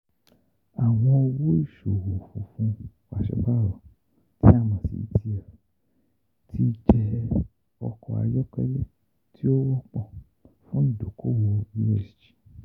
Awọn Owo Iṣowo fun fun pasiparo tí a mọ̀ sí ETF ti jẹ ọkọ ayọkẹlẹ ti o wọpọ fun idoko-owo ESG